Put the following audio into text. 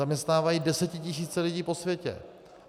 Zaměstnávají desetitisíce lidí po světě.